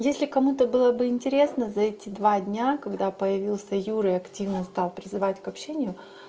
если кому-то было бы интересно за эти два дня когда появился юра и активно стал призывать к общению